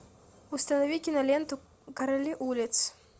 установи киноленту короли улиц